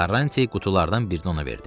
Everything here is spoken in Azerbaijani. Karranti qutulardan birini ona verdi.